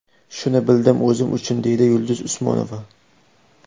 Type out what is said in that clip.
Shuni bildim o‘zim uchun”, deydi Yulduz Usmonova.